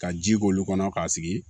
Ka ji k'olu kɔnɔ k'a sigi